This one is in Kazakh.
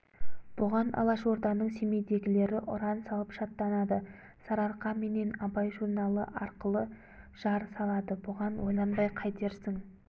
бұған алашорданың семейдегілері ұран салып шаттанады сарыарқа менен абай журналы арқылы жар салады бұған ойланбай қайтерсің